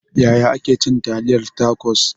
Yaya ake cin taliyar tacos?